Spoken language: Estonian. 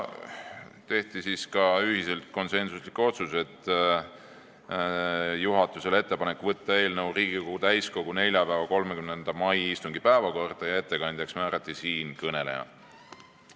Ühiselt tehti konsensuslikud otsused: juhatusele tehti ettepanek saata eelnõu neljapäevaks, 30. maiks Riigikogu täiskogu istungi päevakorda ja ettekandjaks määrati siinkõneleja.